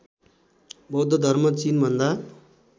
बौद्ध धर्म चिनभन्दा